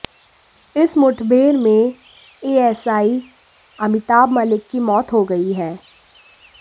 इस मुठभेड़ में एएसआई अमिताभ मलिक की मौत हो गई है